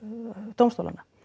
dómstólanna